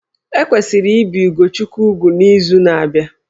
E kwesịrị ibi Ugochukwu úgwù n'izu na-abịa